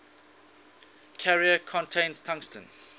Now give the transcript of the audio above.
carrier contains tungsten